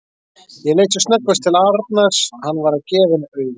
Ég leit sem snöggvast til Arnars, hann var að gefa henni auga.